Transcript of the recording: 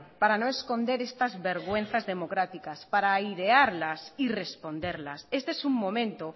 para no esconder estas vergüenzas democráticas para airearlas y responderlas este es un momento